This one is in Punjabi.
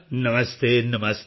ਨਮਸਤੇ ਨਮਸਤੇ